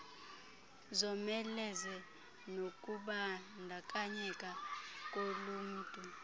zomeleze nokubandakanyeka kolunmtu